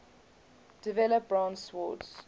develop bronze swords